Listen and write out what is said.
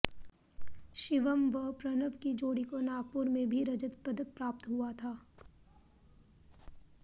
शिवम् व प्रणव की जोड़ी को नागपुर में भी रजत पदक प्राप्त हुआ था